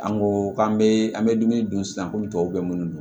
An ko k'an bɛ an bɛ dumuni dun sisan komi tɔw bɛ minnu don